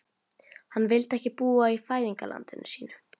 Hann vildi ekki búa í fæðingarlandi sínu.